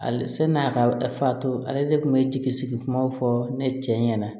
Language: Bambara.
Ale san'a ka fa to ale de kun bɛ jigi sigi kumaw fɔ ne cɛ ɲɛna